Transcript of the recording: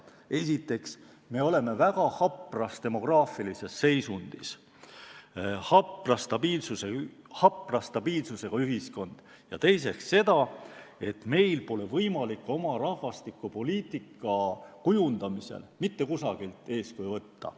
Esiteks, me oleme väga hapras demograafilises seisundis, ja teiseks, meil pole võimalik oma rahvastikupoliitika kujundamisel mitte kusagilt eeskuju võtta.